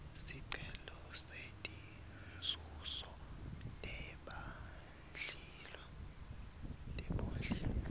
sicelo setinzuzo tebondliwa